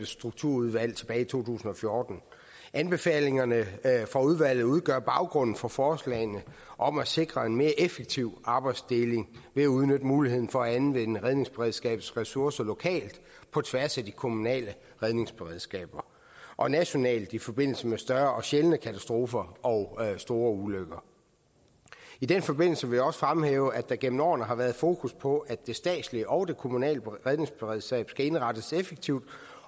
strukturudvalg tilbage i to tusind og fjorten anbefalingerne fra udvalget udgør baggrunden for forslagene om at sikre en mere effektiv arbejdsdeling ved at udnytte muligheden for at anvende redningsberedskabets ressourcer lokalt på tværs af de kommunale redningsberedskaber og nationalt i forbindelse med større og sjældne katastrofer og store ulykker i den forbindelse vil jeg også fremhæve at der gennem årene har været fokus på at det statslige og det kommunale redningsberedskab skal indrettes effektivt